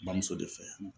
Bamuso de fɛ